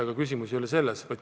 Aga küsimus ei olegi niivõrd selles.